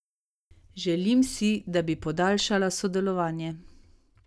Želim si, da b podaljšala sodelovanje.